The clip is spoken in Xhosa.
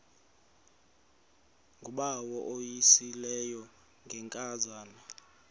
ngubawo uvuyisile ngenkazana